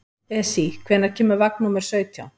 Esí, hvenær kemur vagn númer sautján?